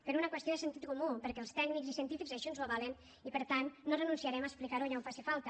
per una qüestió de sentit comú perquè els tècnics i científics així ens ho avalen i per tant no renunciarem a explicar ho allà on faci falta